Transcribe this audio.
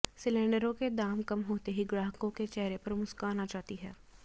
सिलेंडरों के दाम कम होते ही ग्राहकों के चेहरे पर मुस्कान आ जाती है